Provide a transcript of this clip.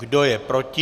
Kdo je proti?